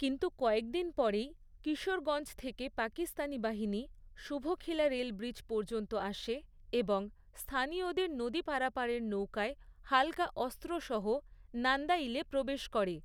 কিন্তু, কয়েকদিন পরেই কিশোরগঞ্জ থেকে পাকিস্তানি বাহিনী শুভখিলা রেলব্রিজ পর্যন্ত আসে এবং স্থানীয়দের নদী পারাপারের নৌকায় হালকা অস্ত্রসহ নান্দাইলে প্রবেশ করে।